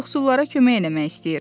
Yoxsullara kömək eləmək istəyir.